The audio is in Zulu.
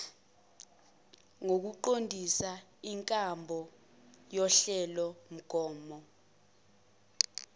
nokuqondisa inkambo yohlelomgomo